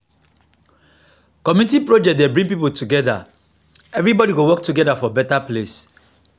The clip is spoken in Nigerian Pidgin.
community project dey bring people together everybody go work as one for better place.